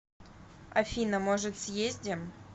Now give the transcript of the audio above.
афина может съездим